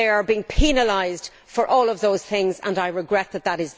They are being penalised for all of those things and I regret that that